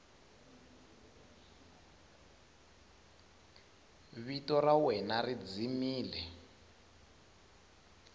vito ra wena ri dzimile